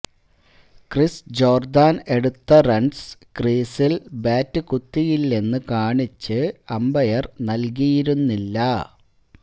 Chris Jordan എടുത്ത runs ക്രീസില് bat കുത്തിയില്ലെന്ന് കാണിച്ച് അമ്പയര് നല്കിയിരുന്നില്ല